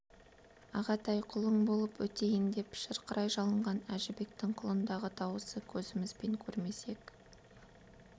ағатай-ай құлың боп өтейін деп шырқырай жалынған әжібектің құлындағы даусы көзімізбен көрмесек